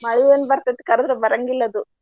ಮಳಿ ಏನ ಬರತೈತಿ ಕರದ್ರ ಬರಾಂಗಿಲ್ಲ ಅದು.